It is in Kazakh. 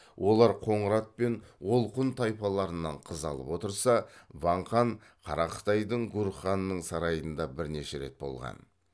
олар қоңырат пен олқұн тайпаларынан қыз алып отырса ван хан қара қытайдың гурханының сарайында бірнеше рет болған